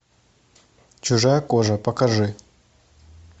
чужая кожа покажи